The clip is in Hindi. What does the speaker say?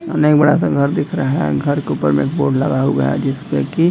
सामने एक बड़ा सा घर दिख रहा है। घर के ऊपर में एक बोर्ड लगा हुआ है जिसमें कि --